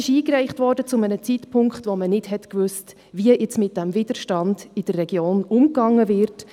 Diese Forderung wurde zu einem Zeitpunkt eingereicht, als man nicht wusste, wie jetzt mit dem Widerstand in der Region umgegangen wird.